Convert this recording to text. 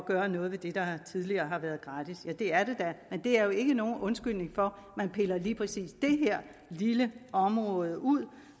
gøre noget ved det der tidligere har været gratis ja det er det da men det er jo ikke nogen undskyldning for at man piller lige præcis det her lille område ud